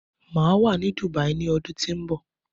Máa wà ní Dubai ni ọdún tó ń bọ̀